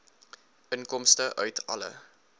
inkomste uit alle